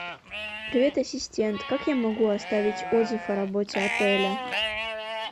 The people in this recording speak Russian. привет ассистент как я могу оставить отзыв о работе отеля